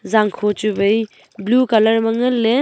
zangkho chu wai blue colour ma ngan ley.